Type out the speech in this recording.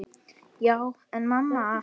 Já, en mamma.!